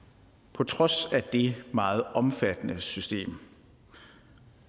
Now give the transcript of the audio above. på trods af det meget omfattende system